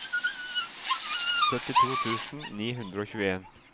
syttito tusen ni hundre og tjueen